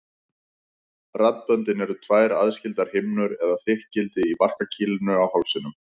Raddböndin eru tvær aðskildar himnur eða þykkildi í barkakýlinu í hálsinum.